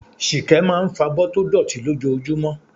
Ṣìkẹ́ máa ń fọ̀bọ́ tó dọ̀tí lójoojúmọ́.